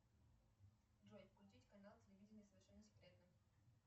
джой включить канал телевидения совершенно секретно